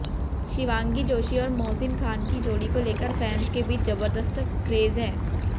शिवांगी जोशी और मोहसिन खान की जोड़ी को लेकर फैंस के बीच जबरदस्त क्रेज है